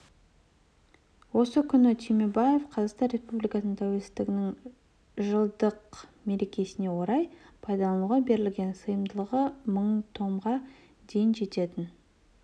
осы күні түймебаев қазақстан республикасы тәуелсіздігінің жылдық мерекесіне орай пайдалануға берілген сыйымдылығы мың томға дейін жететін